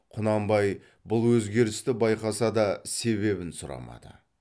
құнанбай бұл өзгерісті байқаса да себебін сұрамады